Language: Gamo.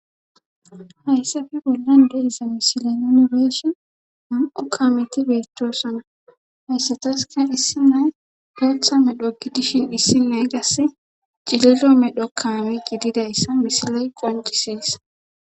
hayssafi bollan deiza misile nonibeshin ham7o kaameti beettoosona hayssatas ka issi nay bootha medho gi dishin dhissi naygas cililo medho kaame gididayssa misiley qanqisies